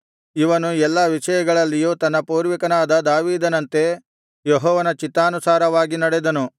ಇವನು ಎಲ್ಲಾ ವಿಷಯಗಳಲ್ಲಿಯೂ ತನ್ನ ಪೂರ್ವಿಕನಾದ ದಾವೀದನಂತೆ ಯೆಹೋವನ ಚಿತ್ತಾನುಸಾರವಾಗಿ ನಡೆದನು